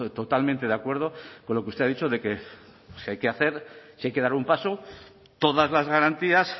totalmente de acuerdo con lo que usted ha dicho de que si hay que hacer si hay que dar un paso todas las garantías